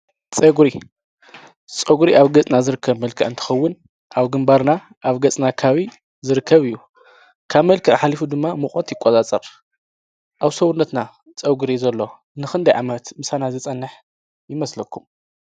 ፀጉሪ አብ ገፅና ዝርከብ መልክዕ እንትኸዉን አብ ግንባርና ኣብ ገፅና ከባቢ ዝርከብ እዪ። ካብ መልክዕ ሓሊፋ ድማ ሙቀት ይቆፃፀር። ኣብ ሰዉነትና ፀጉሪ ዘሎ ንክንደይ ዓመት ምሳና ዝፀንሕ ይመስለኩም ?